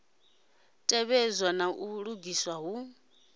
tevhedzwe na u lugiswa hu